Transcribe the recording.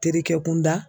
Terikɛ kun da